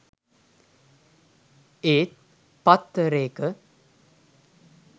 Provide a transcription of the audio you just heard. ඒත් පත්තරේක